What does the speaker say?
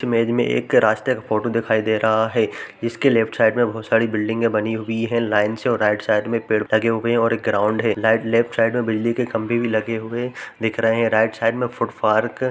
image में एक रास्ते का फोटो दिखाई दे रहा है जिसके लेफ्ट साइड में बहुत सारे बिल्डिंग बनी हुई है लाइन से और राइट साइड में पेड़ लगे हुए हैं और एक ग्राउंड है ल लेफ्ट साइड में बिजली के खम्बे भी लगे हुए दिख रहे हैं राइट साइड में --